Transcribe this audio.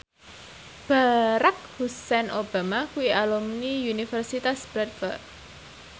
Barack Hussein Obama kuwi alumni Universitas Bradford